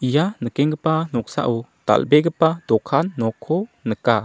ia nikenggipa noksao dal·begipa dokan nokko nika.